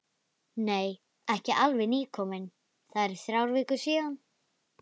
Nei, ekki alveg nýkominn, það eru þrjár vikur síðan.